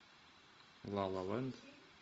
ла ла лэнд